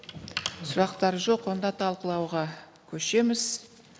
сұрақтар жоқ онда талқылауға көшеміз